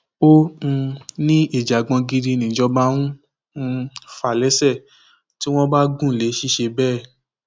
ó um ní ìjàngbọn gidi nìjọba ń um fà lẹsẹ tí wọn bá gùn lé ṣiṣẹ bẹẹ